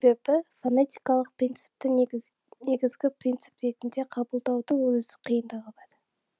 себебі фонетикалық принципті негізгі негізгі принцип ретінде қабылдаудың өз қиындығы бар